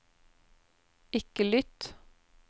ikke lytt